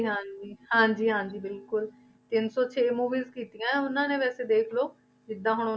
ਹਾਂਜੀ ਹਾਂਜੀ ਹਾਂਜੀ ਬਿਲਕੁਲ ਤਿੰਨ ਸੌ ਛੇ movies ਕੀਤੀਆਂ ਉਹਨਾਂ ਨੇ ਵੈਸੇ ਦੇਖ ਲਓ ਜਿੱਦਾਂ ਹੁਣ